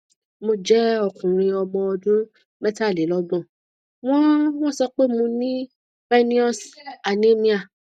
mo jẹ okunrin ọmọ ọdún metalelogbon wọn wọn so pe mo ní pernecious anemia